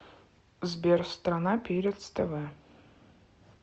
сбер страна перец тв